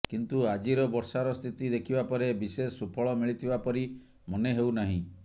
କିନ୍ତୁ ଆଜିର ବର୍ଷାର ସ୍ଥିତି ଦେଖିବା ପରେ ବିଶେଷ ସୁଫଳ ମିଳିଥିବା ପରି ମନେ ହେଉ ନାହିଁ